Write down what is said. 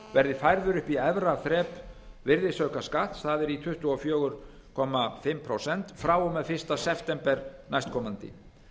verði færður upp í efra þrep virðisaukaskatts það er tuttugu og fjögur og hálft prósent frá og með fyrsta september næstkomandi